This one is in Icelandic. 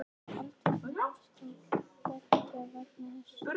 Eldvirkni hófst þá beggja vegna þess þrönga